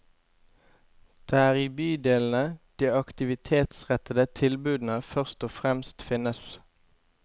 Det er i bydelene de aktivitetsrettede tilbudene først og fremst finnes.